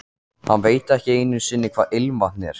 Hann veit ekki einu sinni hvað ilmvatn er.